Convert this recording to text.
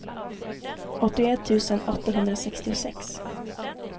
åttioett tusen åttahundrasextiosex